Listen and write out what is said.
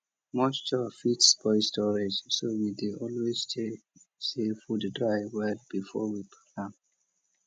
moisture fit spoil storage so we dey always check say food dry well before we pack am